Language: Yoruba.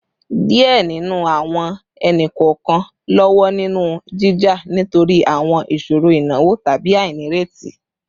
Diẹ ninu awọn ẹni-kọọkan lọwọ ninu jija nitori awọn iṣoro inawo tabi ainireti